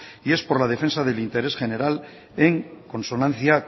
y es por la defensa del interés general en consonancia